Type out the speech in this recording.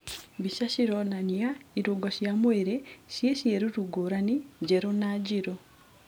Mbica cĩronania ĩrũngo cia mwĩrĩ cie cĩeruru ngũrani njerũ na njĩrũ.